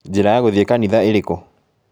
Njĩra ya gũthiĩ kanitha ĩrĩ kũ?